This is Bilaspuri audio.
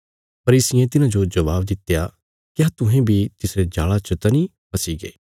फरीसियें तिन्हाजो जबाब दित्या क्या तुहें बी तिसरे जाल़ा च त नीं फसीगे